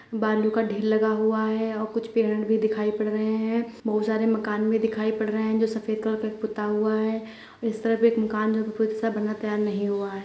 बालू का ढेर लगा हुआ है और कुछ पेड़ भी दिखाई पड़ रहे हैं | बहुत सारे मकान भी दिखाई पड़ रहे हैं जो सफ़ेद कलर पे पुता हुआ है| इस तरफ एक मकान जो सफ़ेद से बना तैयार नहीं हुआ--